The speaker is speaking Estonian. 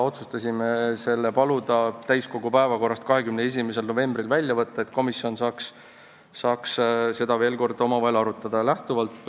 Otsustasime paluda eelnõu täiskogu 21. novembri päevakorrast välja võtta, et komisjon saaks seda veel kord omavahel arutada.